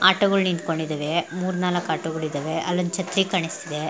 ಆಟೋಗಳು ನಿಂತುಕೊಂಡಿದ್ದವೇ ಮೂರ್ ನಾಲ್ಕು ಆಟೋಗಳು ಇದ್ದವೇ ಅಲ್ಲೊಂದ್ ಛತ್ರಿ ಕಾಣಿಸ್ತಾ ಇದೆ .